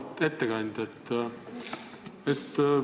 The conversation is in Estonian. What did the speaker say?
Auväärt ettekandja!